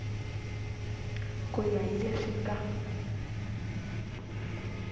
ku ya hi leswi nga